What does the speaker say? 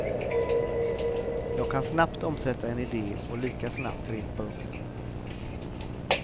Jag kan snabbt omsätta en idé och lika snabbt repa upp den.